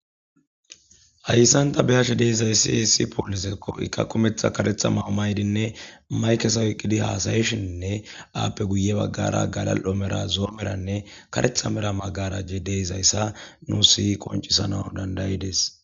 Hayisan ta be'ashe dizayis issi poliseko i qase kumetha mayo ma'idi mayikeza oyikidi hasayishene eyapeka guye bagara gala'o medhane zo'o medhane karetha magarajoy de'eyisa nus qoncisanawu danda'ides